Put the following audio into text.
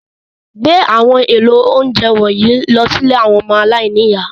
Gbé àwọn èlò oúnjẹ wọ̀nyí lọ sí ilé àwọn ọmọ aláìní ìyá.